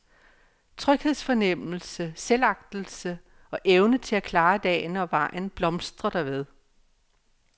Tryghedsfornemmelse, selvagtelse og evne til at klare dagen og vejen blomstrer derved.